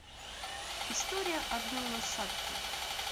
история одной лошадки